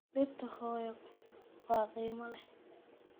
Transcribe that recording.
Dhirta hooyo waa qiimo leh.